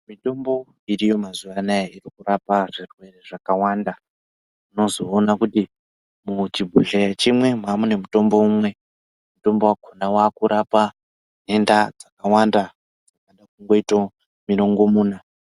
Mitombo iriyo mazuvano irikurapa zvirwere zvakawanda unozoona kuti muchibhodhleya chimwe mamune mutombo umwe wakurapa denda dzakawanda kana mirongomuna.